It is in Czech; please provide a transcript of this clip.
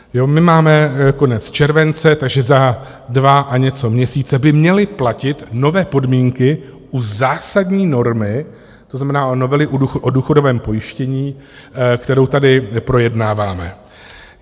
My máme konec července, takže za dva a něco měsíce by měly platit nové podmínky u zásadní normy, to znamená u novely o důchodovém pojištění, kterou tady projednáváme.